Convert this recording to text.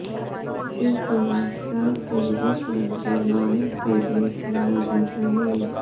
इस दौरान फ्रांस के विदेश मंत्री लॉरेंट फेबियस भी मौजूद रहे